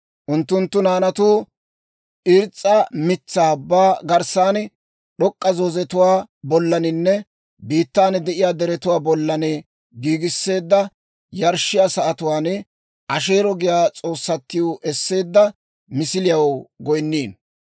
Unttunttu naanatuu irs's'a mitsaa ubbaa garssan, d'ok'k'a zoozetuwaa bollaninne biittan de'iyaa deretuwaa bollan, giigisseedda yarshshiyaa sa'atuwaan Asheero giyaa s'oossatiw esseedda misiliyaw goynniino.